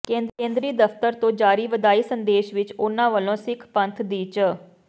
ਕੇਂਦਰੀ ਦਫਤਰ ਤੋਂ ਜਾਰੀ ਵਧਾਈ ਸੰਦੇਸ਼ ਵਿੱਚ ਉਨ੍ਹਾਂ ਵੱਲੋਂ ਸਿੱਖ ਪੰਥ ਦੀ ਚ